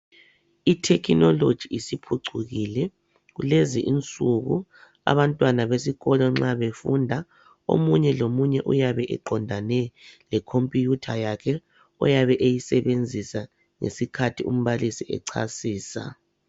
Ithekhinoloji isiphucukile. Kulezi insuku, abantwana besikolo nxa befunda, omunye lomunye uyabe eqondane lekhompuyutha yakhe oyabe eyisebenzisa ngesikhathi umbalisi echasisa.